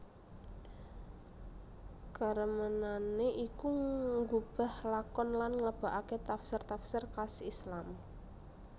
Karemenané iku nggubah lakon lan ngleboaké tafsir tafsir khas Islam